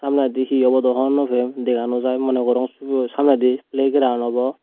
samnendi hi obo do hon naw pem dega no jai moneh gorong sibeyo samnendi playground obo.